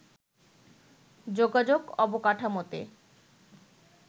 যোগাযোগ অবকাঠামোতে